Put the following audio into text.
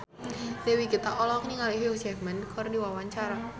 Dewi Gita olohok ningali Hugh Jackman keur diwawancara